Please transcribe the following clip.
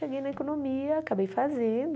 Cheguei na economia, acabei fazendo.